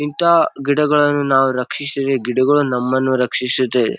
ಇಂತಹ ಗಿಡಗಳನ್ನು ನಾವು ರಕ್ಷಿಸಿ ಗಿಡಗಳು ನಮ್ಮನ್ನು ರಕ್ಷಿಸುತೆ.